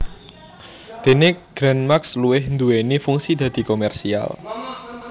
Dene Gran Max luwih nduwéni fungsi dadi komersial